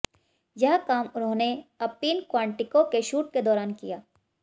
यह काम उन्होंने अपीन क्वाटिंको के शूट के दौरान किया